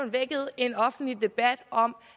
vækket en offentlig debat om